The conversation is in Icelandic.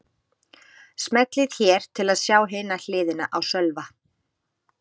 Smellið hér til að sjá hina hliðina á Sölva